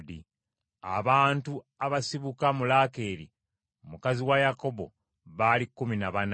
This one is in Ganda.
Abantu abasibuka mu Laakeeri mukazi wa Yakobo baali kkumi na bana.